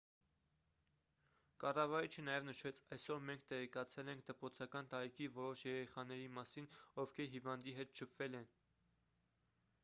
կառավարիչը նաև նշեց այսօր մենք տեղեկացել ենք դպրոցական տարիքի որոշ երեխաների մասին ովքեր հիվանդի հետ շփվել են